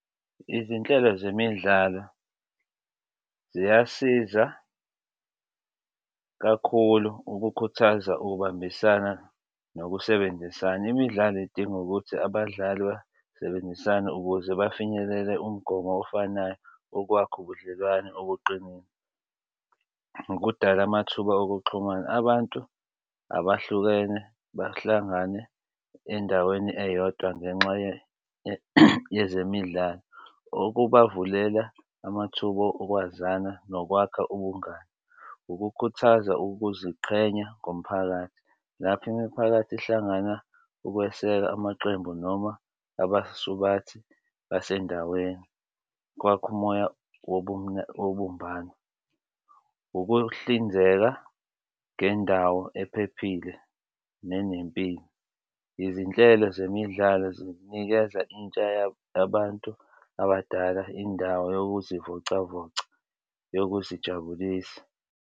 Izinhlelo zemidlalo ziyasiza kakhulu ukukhuthaza ukubambisana nokusebenzisana. Imidlalo idinga ukuthi abadlali basebenzisane ukuze bafinyelele umgomo ofanayo, okwakha ubudlelwano obuqinile ukudala amathuba okuxhumana. Abantu abahlukene bahlangane endaweni eyodwa ngenxa yezemidlalo okubavulela amathuba okwazana nokwakha ubungani. Ukukhuthaza ukuziqhenya ngomphakathi. Lapho imiphakathi ehlangana ukweseka amaqembu noma abasubathi basendaweni kwakha umoya wobumbano ukuhlinzeka ngendawo ephephile nenempilo. Izinhlelo zemidlalo zinikeza intsha yabantu abadala indawo yokuzivocavoca yokuzijabulisa.